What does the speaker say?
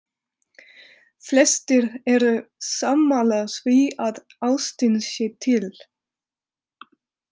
Flestir eru sammála því að ástin sé til.